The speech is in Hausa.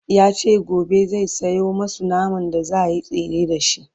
yace gobe zai Sayo masu naman da zaayi tsire da shi